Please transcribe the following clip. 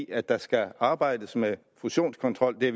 at der skal arbejdes med fusionskontrol jeg